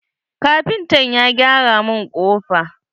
Kafintan ya gyara mun kofa.